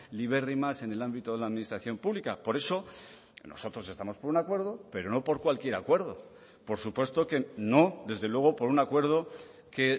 libérrimas en el ámbito de la administración pública por eso nosotros estamos por un acuerdo pero no por cualquier acuerdo por supuesto que no desde luego por un acuerdo que